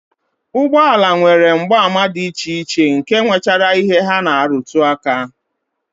Ụgbọala nwere mgbaàmà dị iche iche nke nwechara ihe ha na-arụtụ aka